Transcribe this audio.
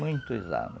Muitos anos.